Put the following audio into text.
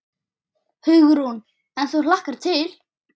Hugrún: En þú hlakkar til?